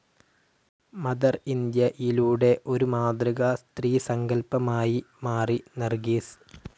Mother ഇന്ത്യയിലൂടെ ഒരു മാതൃകാ സ്ത്രീസങ്കൽപമായി മാറി നർഗീസ്.